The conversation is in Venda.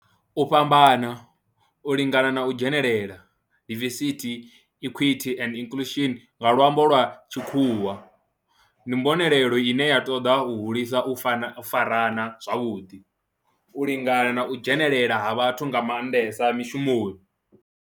U fhambana, u lingana na u dzhenelela, diversity, equity and inclusion nga lwambo lwa tshikhuwa, ndi mbonelelo ine ya toda u hulisa u fara u farana zwavhudi, u lingana na u dzhenelela ha vhathu nga mandesa mishumoni.